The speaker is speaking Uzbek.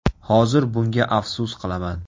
Hozir bunga afsus qilaman.